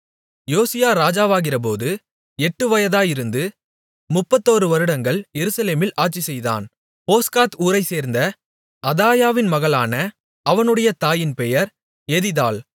யோசியா ராஜாவாகிறபோது எட்டு வயதாயிருந்து முப்பத்தொரு வருடங்கள் எருசலேமில் ஆட்சிசெய்தான் போஸ்காத் ஊரைச் சேர்ந்த அதாயாவின் மகளான அவனுடைய தாயின் பெயர் எதிதாள்